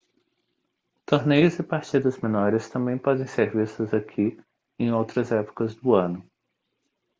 torneios e partidas menores também podem ser vistos aqui em outras épocas do ano